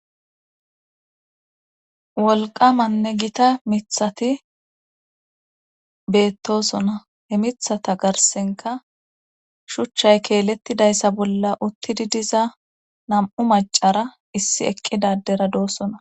Wolqamanne gita mithati betosona he mithata garsan qa shuchay keletidaysa garssan utiditi diza nam'u macara issi eqira ddera dosona.